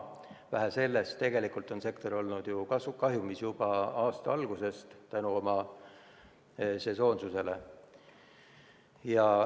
Vähe sellest, tegelikult on sektor olnud kahjumis juba aasta algusest, oma sesoonsuse tõttu.